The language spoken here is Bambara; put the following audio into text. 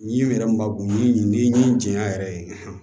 N'i yɛrɛ ma go jɛnya yɛrɛ ye